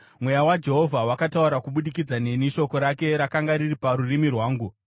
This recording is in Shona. “Mweya waJehovha wakataura kubudikidza neni; shoko rake rakanga riri parurimi rwangu.